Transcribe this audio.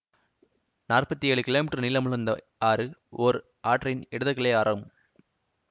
நாற்பத்தி ஏழு கிமீ நீளமுள்ள இந்த ஆறு ஓர் ஆற்றின் இடது கிளை ஆறாகும்